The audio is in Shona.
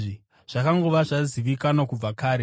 zvakangova zvazivikanwa kubva kare.